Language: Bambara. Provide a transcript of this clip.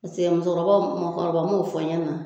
paseke musokɔrɔbaw maakɔrɔba m'o fɔ ɲɛna.